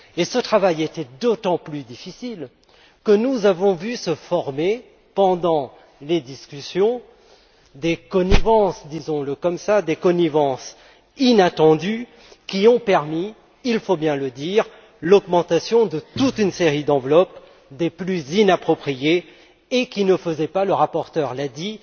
Ce travail était d'autant plus difficile que nous avons vu se former, pendant les discussions, des connivences appelons les ainsi inattendues, qui ont permis, il faut bien le dire, l'augmentation de toute une série d'enveloppes des plus inappropriées, et qui ne faisaient pas le rapporteur l'a dit